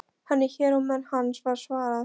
Hann er hér og menn hans, var svarað.